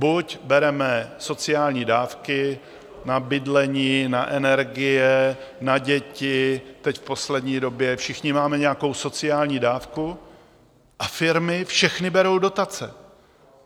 Buď bereme sociální dávky na bydlení, na energie, na děti, teď v poslední době všichni máme nějakou sociální dávku a firmy všechny berou dotace.